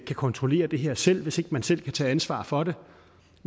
kan kontrollere det her selv hvis man ikke selv kan tage ansvar for det